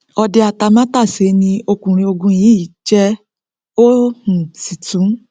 ọdẹ atamátàsé ni ọkùnrin ogun yìí jẹ ó um sì tún